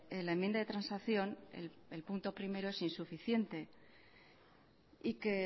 la enmienda de transacción el punto uno que es insuficiente y que